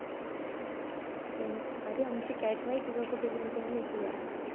अरे आमची cat माहिती आहे का कुठं गेली काय माहिती यार?